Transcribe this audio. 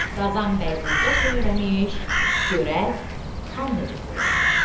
Qazan bəy burda söyləmiş, görək, xan necə söyləmişdi.